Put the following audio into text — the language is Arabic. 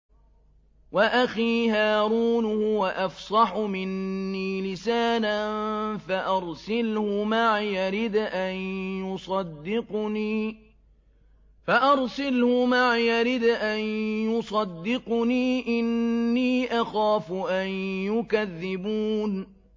وَأَخِي هَارُونُ هُوَ أَفْصَحُ مِنِّي لِسَانًا فَأَرْسِلْهُ مَعِيَ رِدْءًا يُصَدِّقُنِي ۖ إِنِّي أَخَافُ أَن يُكَذِّبُونِ